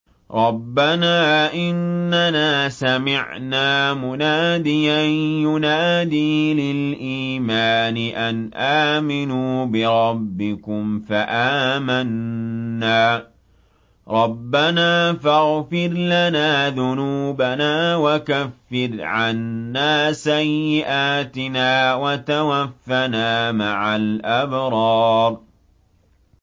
رَّبَّنَا إِنَّنَا سَمِعْنَا مُنَادِيًا يُنَادِي لِلْإِيمَانِ أَنْ آمِنُوا بِرَبِّكُمْ فَآمَنَّا ۚ رَبَّنَا فَاغْفِرْ لَنَا ذُنُوبَنَا وَكَفِّرْ عَنَّا سَيِّئَاتِنَا وَتَوَفَّنَا مَعَ الْأَبْرَارِ